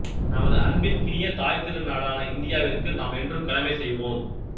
நமது அன்பிற்கினிய தாய்த்திரு நாடான இந்தியாவிற்கு நாம் என்றும் கடமை செய்வோம்